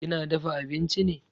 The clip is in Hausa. Kina dafa abinchi ne?